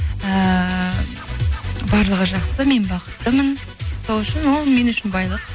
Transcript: ііі барлығы жақсы мен бақыттымын сол үшін ол мен үшін байлық